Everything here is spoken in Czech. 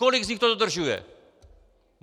Kolik z nich to dodržuje?